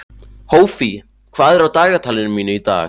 Hófí, hvað er á dagatalinu mínu í dag?